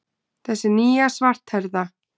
Þessi nýja, svarthærða.